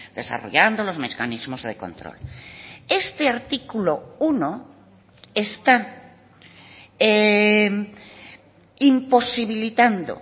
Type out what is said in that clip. desarrollando los mecanismos de control este artículo uno está imposibilitando